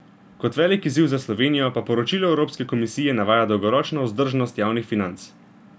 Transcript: Kot velik izziv za Slovenijo pa poročilo Evropske komisije navaja dolgoročno vzdržnost javnih financ.